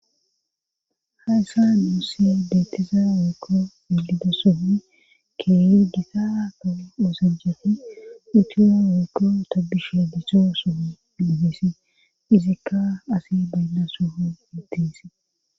Hayssa muussi deettisa wiikko iglido somi keey gita ta uosajjafi itiyo wiikko tabbishe gicho sumi dimisi izikka asi baynna sohu mitisi.